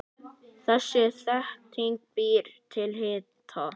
Þessi þétting býr til hita.